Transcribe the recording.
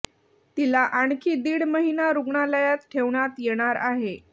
तिला आणखी दीड महिना रुग्णालयात ठेवण्यात येणार आहे